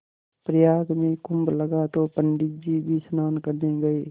प्रयाग में कुम्भ लगा तो पंडित जी भी स्नान करने गये